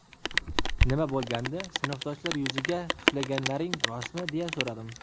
Nima bo‘lgandi, sinfdoshlar yuziga tuflaganlaring rostmi deya so‘radim.